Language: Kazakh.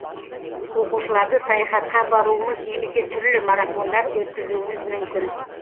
оқушыларды саяхатқа апаруымыз немесе түрлі марафондар өткізуіміз мүмкін